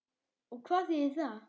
Og hvað þýðir það?